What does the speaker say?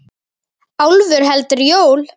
Álfur heldur jól.